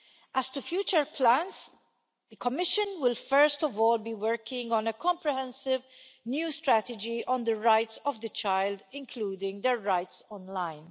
As to future plans, the Commission will first of all be working on a comprehensive new strategy on the rights of the child, including their rights online.